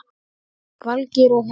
Valgeir og Helga.